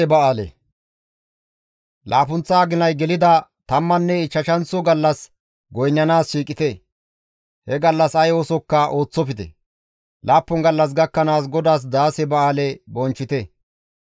« ‹Laappunththa aginay gelida tammanne ichchashanththo gallas goynnanaas shiiqite; he gallas ay oosokka ooththofte; laappun gallas gakkanaas GODAAS daase ba7aale bonchchite.